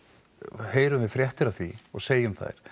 heyrum við fréttir af því og segjum þær